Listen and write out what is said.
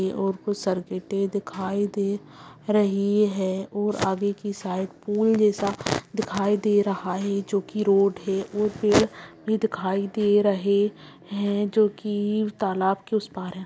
है और कुछ दिखाई दे रही है और आगे की साइड पूल जैसा दिखाई दे रहा है जो की रोड है वो फिर भी दिखाई दे रहे है जो की तालाब के उस पार है।